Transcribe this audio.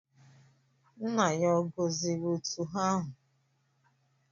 Nna ya ọ̀ gọziri otu ha ahụ?